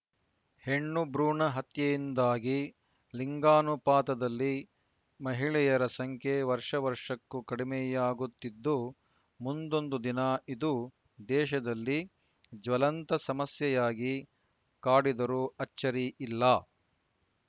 ಹೆಣ್ಣು ಭ್ರೂಣ ಹತ್ಯೆಯಿಂದಾಗಿ ಲಿಂಗಾನುಪಾತದಲ್ಲಿ ಮಹಿಳೆಯರ ಸಂಖ್ಯೆ ವರ್ಷವರ್ಷಕ್ಕೂ ಕಡಿಮೆಯಾಗುತ್ತಿದ್ದು ಮುಂದೊಂದು ದಿನ ಇದು ದೇಶದಲ್ಲಿ ಜ್ವಲಂತ ಸಮಸ್ಯೆಯಾಗಿ ಕಾಡಿದರೂ ಅಚ್ಚರಿ ಇಲ್ಲ